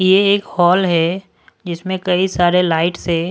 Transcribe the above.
ये एक हॉल है जिसमें कई सारे लाइट से--